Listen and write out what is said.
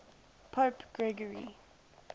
pope gregory